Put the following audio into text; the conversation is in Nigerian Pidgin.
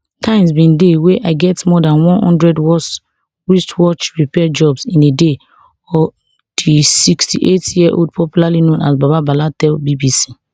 times bin dey wey i get more than one hundred wristwatch repair jobs in a day di sixty-eight yearold popularly known as baba bala tell bbc